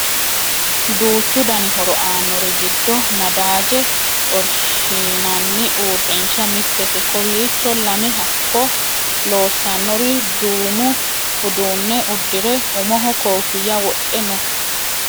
duuchu dani horo aannori giddo nadaaje xorshshinanni uurrinsha mittete kowiicho lame hakko loosannori duumo uduune uddire umoho koofinya wodhe no